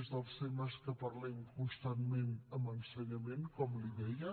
és dels temes que parlem constantment amb ensenyament com li deia